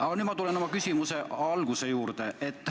Aga nüüd tulen ma oma küsimuse alguse juurde.